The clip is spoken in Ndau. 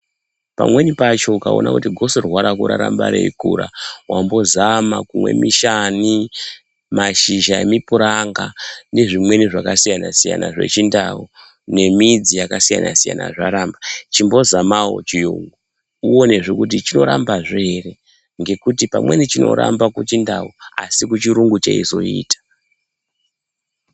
Pamweni pacho ukaona kuti gotsorwa rako raramba reikura wambozama kumwe mishani mashizha emupiranga nezvimweni zvakasiyana siyana zvechindau ne midzi yakasiyana siyana zvaramba .Chimbozamawo chiyungu uone kuti choramba zvee ere ngekuti pamweni zvinoramba kuchindau asi kuchirungu zveizoita.